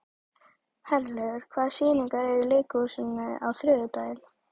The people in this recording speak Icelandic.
Herlaugur, hvaða sýningar eru í leikhúsinu á þriðjudaginn?